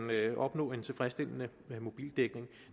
opnå en tilfredsstillende mobildækning